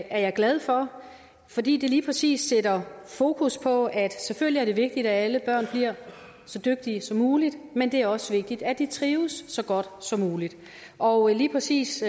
er jeg glad for fordi det lige præcis sætter fokus på at selvfølgelig er det vigtigt at alle børn bliver så dygtige som muligt men det er også vigtigt at de trives så godt som muligt og lige præcis